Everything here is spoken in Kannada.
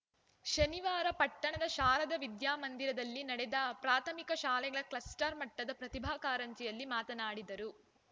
ಶನಿವಾರ ಪಟ್ಟಣದ ಶಾರದ ವಿದ್ಯಾಮಂದಿರದಲ್ಲಿ ನಡೆದ ಪ್ರಾಥಮಿಕ ಶಾಲೆಗಳ ಕ್ಲಸ್ಟರ್‌ ಮಟ್ಟದ ಪ್ರತಿಭಾ ಕಾರಂಜಿಯಲ್ಲಿ ಮಾತನಾಡಿದರು